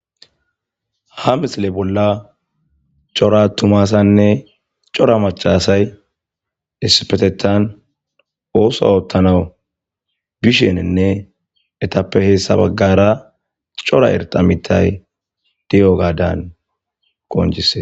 ha misile bolla cora atuma asanne cora maca asay isipetetan ooso ottanaw bishenenne etappe heessa baggara cora erxa mitay di'ogaadan qoncises